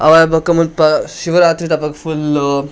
ಅವಾಯಿ ಬೊಕ ಮುಲ್ಪ ಶಿವರಾತ್ರಿದಪಗ ಫುಲ್ಲ್ .